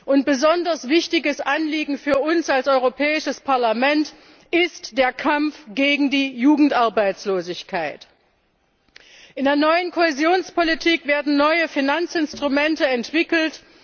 Und ein besonders wichtiges Anliegen für uns als Europäisches Parlament ist der Kampf gegen die Jugendarbeitslosigkeit. In der neuen Kohäsionspolitik werden neue Finanzinstrumente entwickelt.